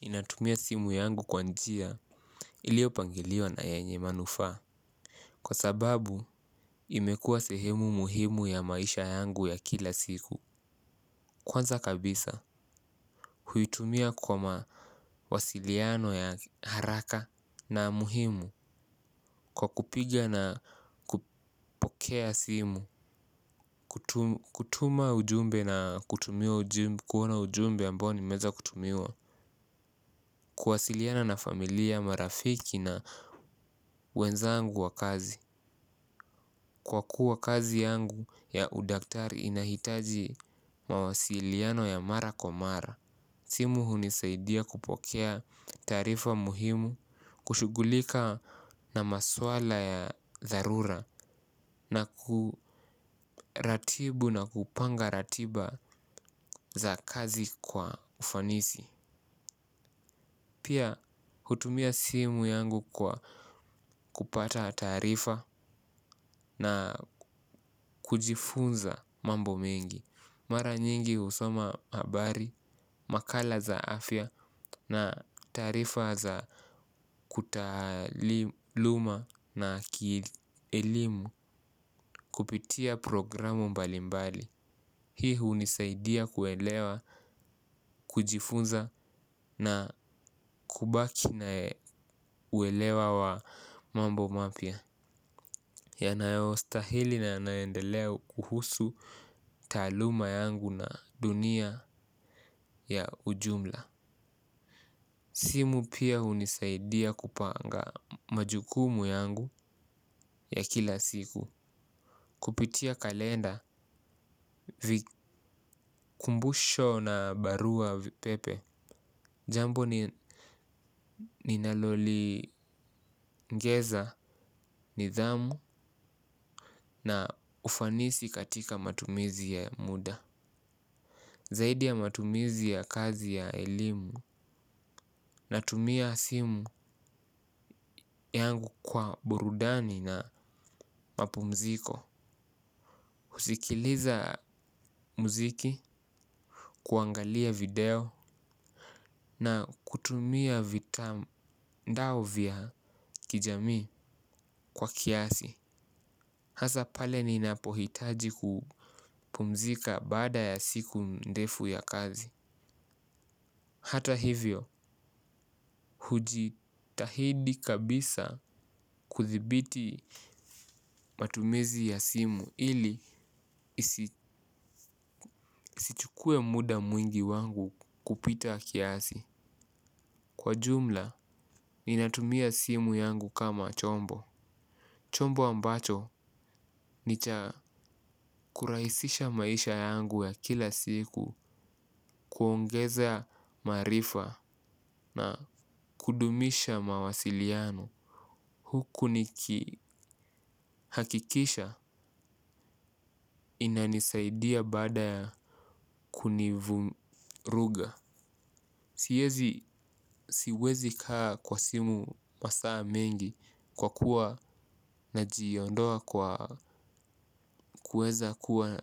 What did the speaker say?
Inatumia simu yangu kwa njia iliopangiliwa na yanye manufaa. Kwa sababu imekua sehemu muhimu ya maisha yangu ya kila siku. Kwanza kabisa huitumia kwa mawasiliano ya haraka na muhimu kwa kupiga na kupokea simu. Kutuma ujumbe na kuona ujumbe ambao nimeweza kutumiwa. Kuwasiliana na familia marafiki na wenzangu wa kazi. Kwa kuwa kazi yangu ya udaktari inahitaji mawasiliano ya mara kwa mara. Simu hunisaidia kupokea taarifa muhimu. Kushugulika na maswala ya dharura. Na kuratibu na kupanga ratiba za kazi kwa ufanisi. Pia hutumia simu yangu kwa kupata tarifa na kujifunza mambo mengi. Mara nyingi husoma habari, makala za afya na taarifa za kutaluma na kielimu kupitia programu mbalimbali. Hii hunisaidia kuelewa, kujifunza na kubaki na uelewa wa mambo mapya. Yanayo stahili na yanayoendelea huhusu taaluma yangu na dunia ya ujumla. Simu pia hunisaidia kupanga majukumu yangu ya kila siku. Kupitia kalenda, kumbusho na barua pepe. Jambo ni ninaloli ngeza, nidhamu na ufanisi katika matumizi ya muda. Zaidi ya matumizi ya kazi ya elimu natumia simu yangu kwa burudani na mapumziko. Husikiliza muziki, kuangalia video na kutumia vitandao vya kijamii kwa kiasi. Hasa pale ninapohitaji kupumzika baada ya siku ndefu ya kazi. Hata hivyo, hujitahidi kabisa kuthibiti matumizi ya simu ili isichukue muda mwingi wangu kupita kiasi. Kwa jumla, ni natumia simu yangu kama chombo. Chombo ambacho ni cha kurahisisha maisha yangu ya kila siku kuongeza maarifa na kudumisha mawasiliano. Huku ni kihakikisha inanisaidia baada ya kunivuruga. Siwezi kaa kwa simu masaa mengi kwa kuwa na jiondoa kwa kuweza kuwa